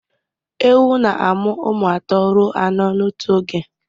Ewu na-amụ ụmụ atọ ruo anọ n'otu oge